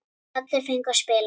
Allir fengu að spila.